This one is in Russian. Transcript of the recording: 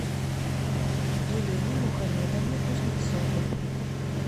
елене мухамедовне кузнецовой